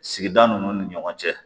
Sigida ninnu ni ɲɔgɔn cɛ